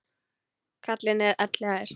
Karlinn er elliær.